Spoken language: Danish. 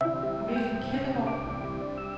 Mikkel Kirkegaard